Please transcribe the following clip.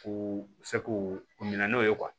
U fɛ k'u u minɛ n'o ye